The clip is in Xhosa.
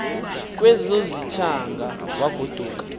kwezo zithaanga wagoduka